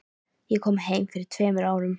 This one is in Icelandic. Ég kom heim fyrir tveimur árum.